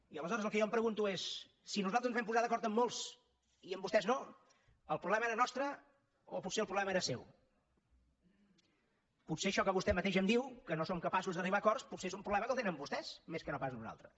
i aleshores el que jo em pregunto és si nosaltres ens vam posar d’acord amb molts i amb vostès no el problema era nostre o potser el problema era seu potser això que vostè mateix em diu que no som capaços d’arribar a acords és un problema que el tenen vostès més que no pas nosaltres